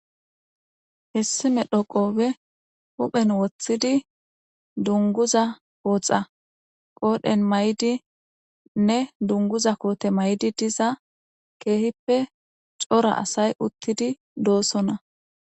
Hessi medho qoobe huphen woththidi dunguza kootxa qoodhen may'di nne dunguza koote may'di diza keehippe cora asay uttidi doossonna.